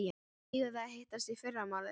Eigum við að hittast í fyrramálið?